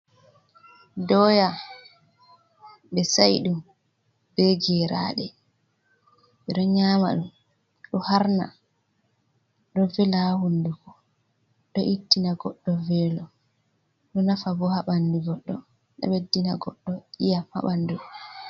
Doya be sa'i'dum be geraɗe, ɓe ɗo nyama ɗum, ɗo harna, ɗo vela ha hunduko, ɗo ittina goɗɗo velo, ɗo nafa bo ha bandu goɗɗo, ɗo ɓeddina goɗɗo iyam ha bandu.